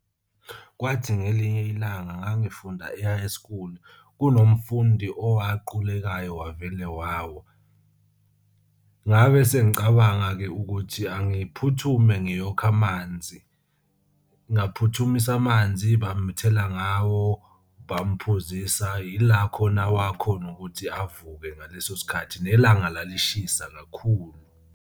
Kwathi ngelinye ilanga ngangifunda e-high school kunomfundi owaqulekayo, wavele wawa. Ngabe sengicabanga-ke ukuthi angiphuthume ngiyokha amanzi ngaphuthumisa amanzi. Bamthela ngawo bamphuzisa ila khona wakhona ukuthi avuke ngaleso sikhathi, nelanga lalishisa kakhulu.